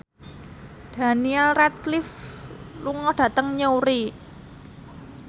Daniel Radcliffe lunga dhateng Newry